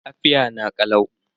Lafiya na kalau.